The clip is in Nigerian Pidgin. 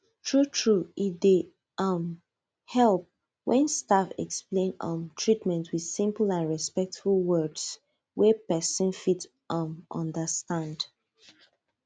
truetrue e dey um help when staff explain um treatment with simple and respectful words wey person fit um understand